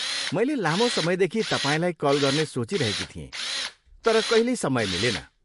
मैले लामो समयदेखि तपाईँलाई कल गर्ने सोचिरहेकी थिएँ तर कहिल्यै समय मिलेन।